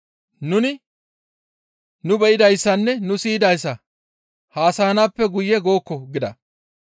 Nuni nu be7idayssanne nu siyidayssa haasayanaappe guye gookko» gida.